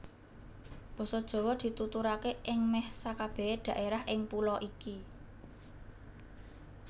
Basa Jawa dituturaké ing mèh sakabèh dhaérah ing pulo iki